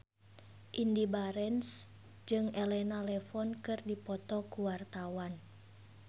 Indy Barens jeung Elena Levon keur dipoto ku wartawan